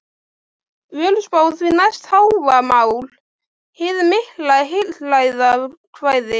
Völuspá, og því næst Hávamál, hið mikla heilræðakvæði.